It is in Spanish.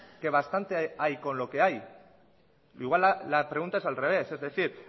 que bastante hay con lo que hay igual la pregunta es al revés es decir